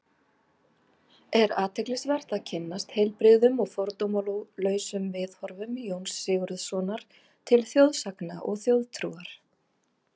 Er athyglisvert að kynnast heilbrigðum og fordómalausum viðhorfum Jóns Sigurðssonar til þjóðsagna og þjóðtrúar.